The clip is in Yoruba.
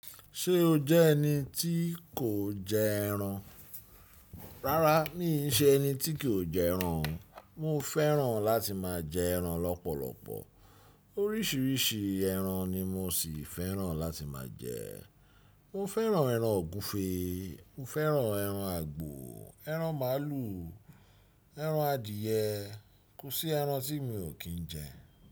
Ṣé o jẹ́ ẹni tí kò jẹ ẹran? Rárá mi n ṣe ẹni tí kò jẹ ẹran, mo fẹ́ràn láti máa jẹ ẹran lọ́pọ̀lọpọ̀. Oríṣiríṣi ẹran ni mo ṣì fẹ́ràn láti máa jẹ. Mo fẹ́ràn ẹran ògúnfe, mo fẹ́ràn ẹran àgbò, ẹran màálù, ẹran adìẹ. Kò sí ẹran tí mi ò kí ń jẹ.